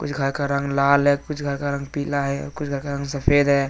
कुछ घर का रंग लाल है कुछ घर का रंग पिला है कुछ घर का रंग सफेद है।